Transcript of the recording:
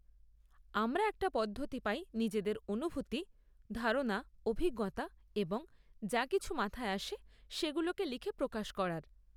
আমরা একটা পদ্ধতি পাই নিজেদের অনুভূতি, ধারণা, অভিজ্ঞতা এবং যা কিছু মাথায় আসে সেগুলোকে লিখে প্রকাশ করার।